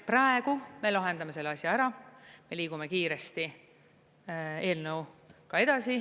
Praegu me lahendame selle asja ära ja liigume kiiresti eelnõuga edasi.